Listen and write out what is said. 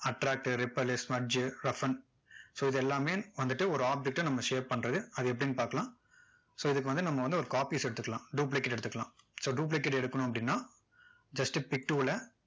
attract to repel, smudge, roughen so இதெல்லாமே வந்துட்டு ஒரு object ட நம்ம shape பண்றது அது எப்படின்னு பார்க்கலாம் so இதுக்கு வந்து நம்ம வந்து ஒரு copies எடுத்துக்கலாம் duplicate எடுத்துக்கலாம் so duplicate எடுக்கணும் அப்படின்னா just pic tool ல